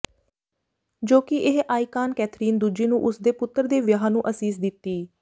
ਜੋ ਕਿ ਇਹ ਆਈਕਾਨ ਕੈਥਰੀਨ ਦੂਜੀ ਨੂੰ ਉਸ ਦੇ ਪੁੱਤਰ ਦੇ ਵਿਆਹ ਨੂੰ ਅਸੀਸ ਦਿੱਤੀ